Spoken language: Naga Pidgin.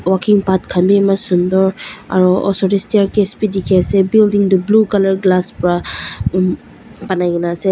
walking path khan bi eman sunder aro osor te staircase bi dikhi ase building tu blue colour glass pra um banakena ase.